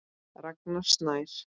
Ragnar Snær.